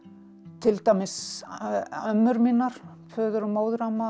til dæmis ömmur mínar föður og móðuramma